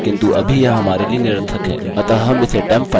किन्तु अभी यह हमारे लिए निरर्थक है